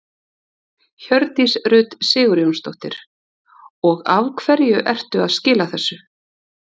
Hjördís Rut Sigurjónsdóttir: Og af hverju ertu að skila þessu?